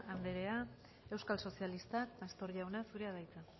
anderea euskal sozialistak pastor jauna zurea da hitza